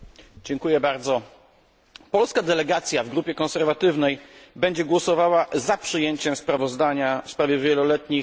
Polska delegacja w grupie konserwatywnej będzie głosowała za przyjęciem sprawozdania w sprawie wieloletnich ram finansowych.